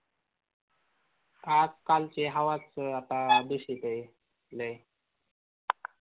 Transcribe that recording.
आजकालची हवाच आता दुषित आहे लय